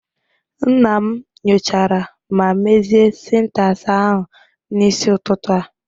Nna m nyochara ma mezie syntax ahụ n'isi ụtụtụ a